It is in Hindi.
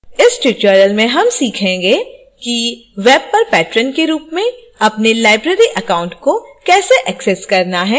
इस tutorial में हम सीखेंगे किweb पर patron के रूप में अपने library account को कैसे access करना है